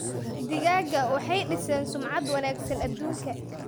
Digaagga waxay dhiseen sumcad wanaagsan adduunka.